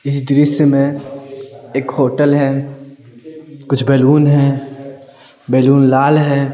इस दृश्य में एक होटल है कुछ बैलून है बैलून लाल है ।